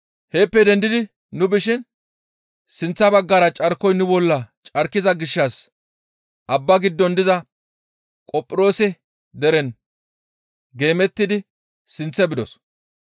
Heeppe dendi nu bishin sinththa baggara carkoy nu bolla carkiza gishshas abba giddon diza Qophiroose deren geemettidi sinththe bidos.